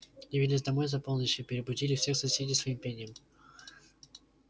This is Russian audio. явились домой за полночь и перебудили всех соседей своим пением